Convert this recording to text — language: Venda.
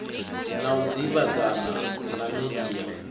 na u davhidzana na media